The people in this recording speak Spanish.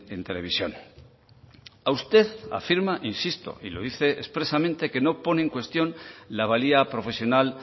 en televisión a usted afirma e insisto y lo dice expresamente que no pone en cuestión la valía profesional